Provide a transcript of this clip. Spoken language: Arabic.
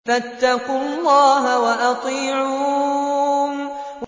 فَاتَّقُوا اللَّهَ وَأَطِيعُونِ